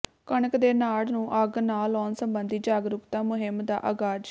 ਕਣਕ ਦੇ ਨਾੜ ਨੰੂ ਅੱਗ ਨਾ ਲਾਉਣ ਸੰਬੰਧੀ ਜਾਗਰੂਕਤਾ ਮੁਹਿੰਮ ਦਾ ਆਗਾਜ਼